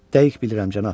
Dəqiq bilirəm, cənab.